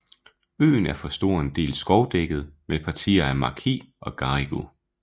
Øen er for en stor del skovdækket med partier af maki og garigue